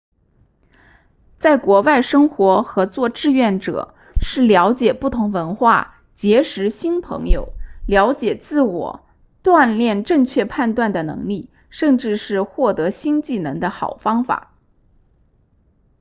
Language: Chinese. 在国外生活和做志愿者是了解不同文化结识新朋友了解自我锻炼正确判断的能力甚至是获得新技能的好方法